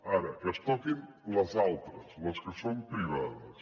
ara que es toquin les altres les que són privades